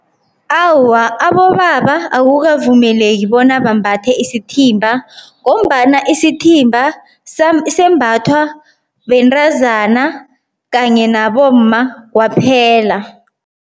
Awa, abobaba akukavumeleki bona bambathe isithimba ngombana isithimba sembathwa bentazana kanye nabomma kwaphela.